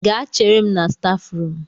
Gaa chere m na stafu rum